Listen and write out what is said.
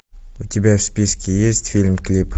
у тебя в списке есть фильм клип